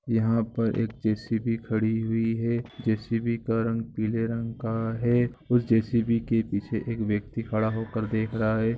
यहाँ पर एक जे_सी_बी खड़ी हुई है जे_सी_बी पीले रंग का है उस जे_सी_बी के पिछे एक व्यक्ति खड़ा होकर देख रहा है।